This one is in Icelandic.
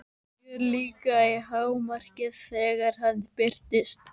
Fjörið líka í hámarki þegar hann birtist.